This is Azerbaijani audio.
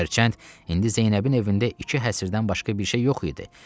Hərçənd indi Zeynəbin evində iki həbirdən başqa bir şey yox idi.